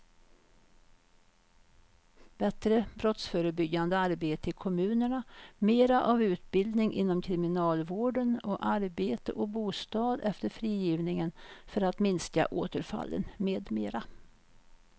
Bättre brottsförebyggande arbete i kommunerna, mera av utbildning inom kriminalvården och arbete och bostad efter frigivningen för att minska återfallen med mera.